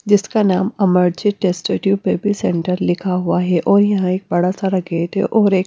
जिसका नाम अमर्जेट टेस्ट्यूब बेबी सेंटर लिखा हुआ है और यहां एक बड़ा सारा गेट है और एक--